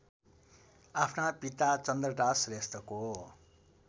आफ्ना पिता चन्द्रदास श्रेष्ठको